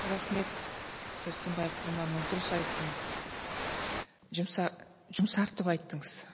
рахмет сәрсенбай құрманұлы дұрыс айттыңыз жұмсартып айттыңыз